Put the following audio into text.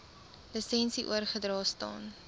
lisensie oorgedra staan